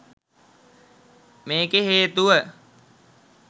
මේකේ හේතුව